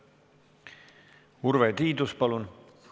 Urve Tiidus, palun!